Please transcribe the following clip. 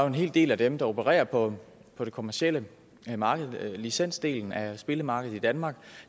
en hel del af dem der opererer på det kommercielle marked licensdelen af spillemarkedet i danmark